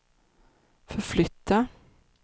förflytta